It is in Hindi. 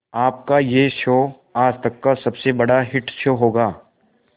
आपका यह शो आज तक का सबसे बड़ा हिट शो होगा